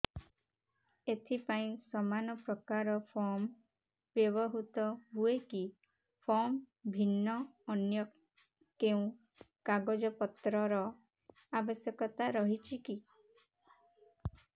ଏଥିପାଇଁ ସମାନପ୍ରକାର ଫର୍ମ ବ୍ୟବହୃତ ହୂଏକି ଫର୍ମ ଭିନ୍ନ ଅନ୍ୟ କେଉଁ କାଗଜପତ୍ରର ଆବଶ୍ୟକତା ରହିଛିକି